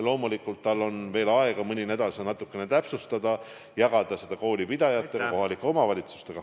Loomulikult on tal veel mõni nädal aega seda natukene täpsustada ning jagada koolipidajate ja kohalike omavalitsustega.